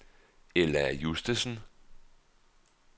Ella Justesen